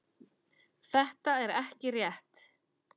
Þetta er ekki rétt.